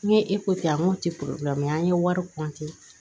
N ye kɛ n ko te an ye wari